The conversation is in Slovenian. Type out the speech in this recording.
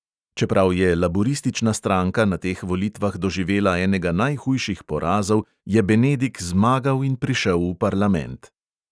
Čeprav je laburistična stranka na teh volitvah doživela enega najhujših porazov, je benedik zmagal in prišel v parlament.